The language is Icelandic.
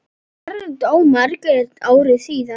Þar dó Margrét ári síðar.